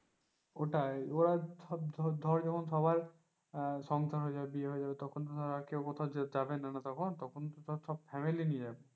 ওটাই ওরা ধর যেমন সবাই আহ সংসার হয়ে যাবে বিয়ে হয়ে যাবে তখন তো ধর আর কেও কোথাও যাবে না, তখন তো সব family নিয়ে যাবে।